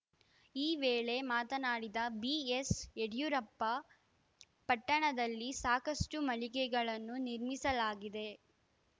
ಈ ವೇಳೆ ಮಾತನಾಡಿದ ಬಿಎಸ್‌ಯಡಿಯೂರಪ್ಪ ಪಟ್ಟಣದಲ್ಲಿ ಸಾಕಷ್ಟುಮಳಿಗೆಗಳನ್ನು ನಿರ್ಮಿಸಲಾಗಿದೆ